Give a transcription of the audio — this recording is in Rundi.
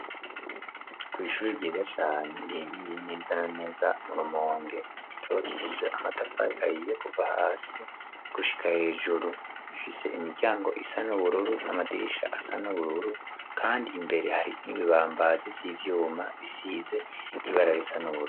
Kw'ishure ryiza cane riherereye neza na neza mu Rumonge, ryubakishije amatafari ahiye kuva hasi gushika hejuru. Rifise imiryango isa n'ubururu n'amadirisha asa n'ubururu kandi imbere hari n'ibibambazi vy'ivyuma bisize ibara risa n'ubururu.